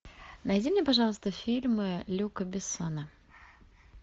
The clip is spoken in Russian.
найди мне пожалуйста фильмы люка бессона